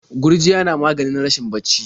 Gurjiya na maganin rashin bacci.